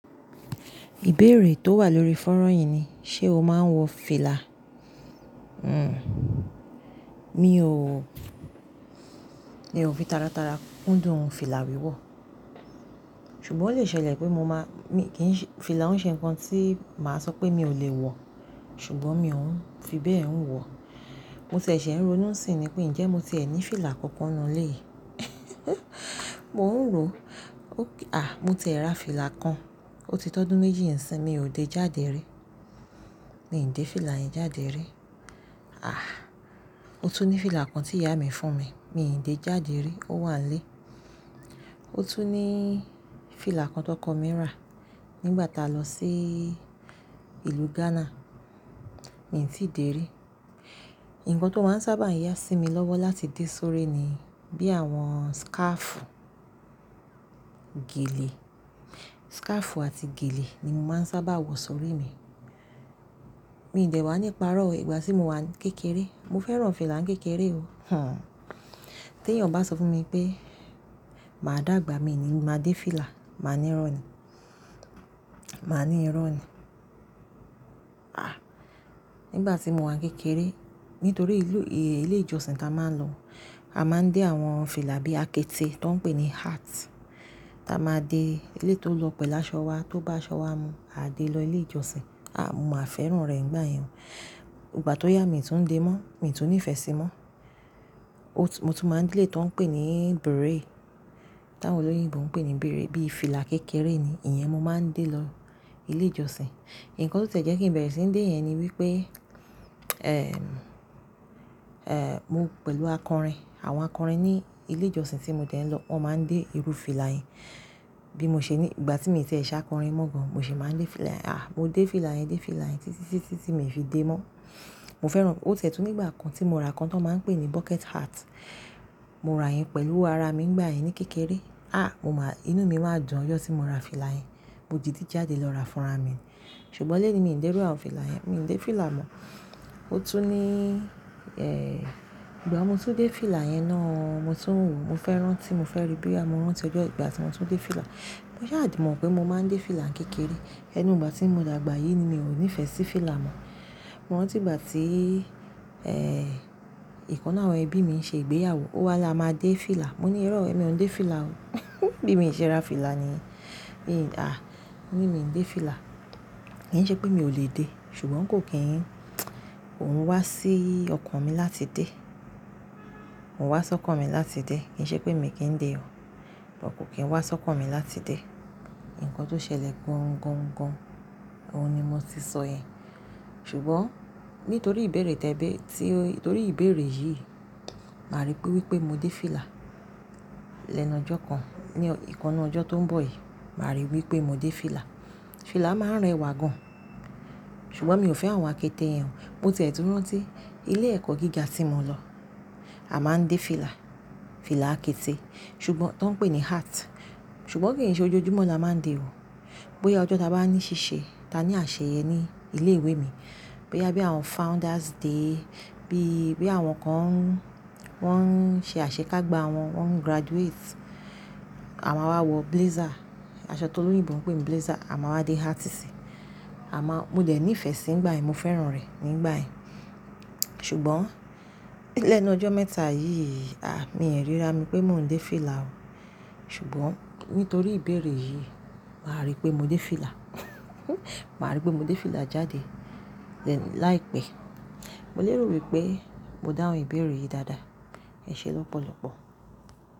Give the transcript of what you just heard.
Ìbéèrè tó wà lórí fónrán yìí ni, ṣe o máa ń wọ fìlà? Hhn, mi ò, mi ò fi tara tara kún dùn fìlà wíwọ̀. Ṣùgbọ́n ó lè ṣẹlẹ̀ pé mo máa, mi kì ń ṣe, fìlà ouń ṣe nǹkan tí màá sọ pé mi ò lè wọ̀, ṣùgbọ́n mi ò ń fi bẹ́ẹ̀ ń wọ̀. Mo ti ẹ́ ṣe ń ro nú sìn ni pé, ǹjẹ́ mo ti ẹ ní fìlà kankan nínú ilé yìí? Mo ń rò. Ókay à! Mo ti ẹ ra fìlà kan, ó ti tọ́dún méjì ń sin mi ò dé jáde rí. Mi ò dé fìlà yẹn jáde rí. Àh! Ó tún ní fìlà kan tí ìyá mi fún mi, mi ò dé jáde rí, ó wà n lé. Ó tún níí fìlà kan tóko mi rà nígbà taa lọ síí ìlú Ghana, mi ò tíì dé rí. Nǹkan tó máa ń sábà yá sí mi lọ́wọ́ láti dé sórí ni bí àwọn scarfu, gèlè, scarfu àti gèlè ni mo máa ń sábà wọ sórí mi. Mi dẹ̀ wà níparọ́ o ìgbà tí mo wà ni kékeré. Mo fẹ́ràn fìlà ń kékeré o. Hhn. Tẹ́ eyàn bá sọ fún mi pé, "Máa dàgbà," mi ní, "Máa dé fìlà." Ma ní irọ́ ni. Ma ní irọ́ ni. Àh! Nígbà tí mo wà n kékeré, nítorí ìlú, ilé ìjọsìn tí a máa ń lọ, a máa ń dé àwọn fìlà bí àkéte tó ń pè ní hat táa máa de éleyi tó lọ̀ pẹ́lu ásọ wa tó bá asọ wá mu, a dé lọ ilé ìjọsìn. A, mo máa fẹ́ràn rẹ̀ nígbà yẹn. Ìgbà tó yá mi tún ń dé mọ́, mi tún nífẹ̀ẹ́ sí i mọ́. O tún, mo tún máa ń dé eléyi tò ń pè ní beret. Tàwọn olóyìnbo ń pè ní beret, bí i fìlà kékeré ni, ìyẹn mo máa ń dé lọ ilé ìjọsìn. Nǹkan tó ti ẹ́ jẹ́ kí n bẹ̀rẹ̀ sí ń dé yẹn ni wípé, èh, mo pẹ̀lú àkọrin. Àwọn àkọrin ní ilé ìjọsìn tí mo dẹ́ ń lọ, wọ́n máa ń dé irú fìlà yẹn. Bí mo ṣe ní, ìgbà tí mio ti ẹ́ ṣá kọrin mọ́ gan, mo sì máa ń dé fìlà yẹn. Àh! Mo dé fìlà yẹn, dé fìlà yẹn títí tí, tí mi ò fi dé mọ́. Mo fẹ́ràn. Ó ti e tún nígbà kan tí mo ra kan tó máa ń pè ní bucket hat. Mo ra yẹn pẹ̀lú owo ara mi nígbà yẹn ní kékeré. Àh! Mo máa, inú mi máa dùn ojọ tí mo ra fìlà yẹn. Mo di dí jáde lọ ra fún ara mi. Ṣùgbọ́n léni mi ò dé iru àwọn fìlà yẹn, mi ò dé fìlà mọ́. Ó tún ní, ìgbà tí mo tún dé fìlà yẹn náà o, mo tún wò, mo fẹ́ rán tí mo fẹ́ rí boya mo ran ti ojọ́ ìgbà tí mo tún dé fìlà. Mo sa de mọ̀ pé mo máa ń dé fìlà ń kékeré. Ẹnu ìgbà tí mo dàgbà yìí ni mi ò nífẹ̀ẹ́ sí fìlà mọ́. Mo rántí ìgbà tí, e ikan nu àwọn ẹbí mi ń ṣe ìgbéyàwó, ó wá la máa dé fìlà. Mo ní irọ́ o "Èmi ò ń dé fìlà o." Bí mi n ṣe ra fìlà niyen Mi, àh! Mo ní mi ò ń délé fìlà. Kì ń ṣe pé mi ò lè dé, ṣùgbọ́n kò kí ń, kòun wá sí ọkàn mi láti dé. Ko un wá sọ́kàn mi láti dé. Kì ń ṣe pé mi kì ń dé o, bo kò kí ń wá sọ́kàn mi láti dé. Nǹkan tó ṣẹlẹ̀ gan-gan-gan, òun ni mo ti sọ yẹn. Ṣùgbọ́n nítorí ìbéèrè tẹ́ẹ̀ bẹ́ẹ́, tí ó, nítorí ìbéèrè yìí, màá rí pé wípé mo dé fìlà. Lẹ́nu ọjọ́ kan, ní ìkán nnu ọjọ́ tó ń bọ̀ yìí, màá rí wípé mo dé fìlà. Fìlà máa ń rẹwà gan. Ṣùgbọ́n mi ò fẹ́ àwọn àkéte yẹn o. Mo ti ẹ́ tún rántí ilé ẹ̀kọ́ gíga tí mo lọ, a máa ń dé fìlà, fìlà àkéte. Ṣùgbọ́n, tó ń pè ní hat. Ṣùgbọ́n kì ń ṣe ojújúmọ́ ni a máa ń dé o. Boya ọjọ́ ta bá ní ṣíṣe, ta ní àṣeyẹ ní ilé ìwé mi, boya bí àwọn founders day, bí, bí àwọn kan wọ́n ń ṣe àṣekágbá wọn, wọ́n ń graduate, a máa wá wọ blazer. Aṣọ tó olóyìnbó ń pè ní blazer, a máa wá dé hat sí i. A máa, mo dẹ̀ ní ìfẹ́ sí nígbà yẹn, mo fẹ́ràn rẹ̀ nígbà yẹn. Ṣùgbọ́n lẹ́nu ọjọ́ mẹ́ta yìí, àh! Mi ò ríra, mi pé mò ń dé fìlà o. Ṣùgbọ́n nítorí ìbéèrè yìí, màá rí pé mo délé fìlà. Màá rí pé mo dé fìlà jáde lẹ́nu láìpẹ́. Mo lérò wípé mo dáhùn ìbéèrè yìí dáadáa. Ẹ ṣé lọ́pọ̀lọ̀pọ̀.